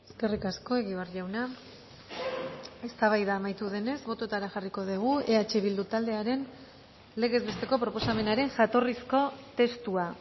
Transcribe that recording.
eskerrik asko egibar jauna eztabaida amaitu denez bototara jarriko dugu eh bildu taldearen legez besteko proposamenaren jatorrizko testua